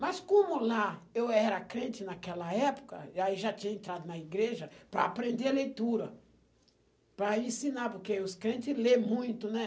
Mas como lá eu era crente naquela época, e aí já tinha entrado na igreja para aprender a leitura, para ensinar, porque os crentes lêem muito, né?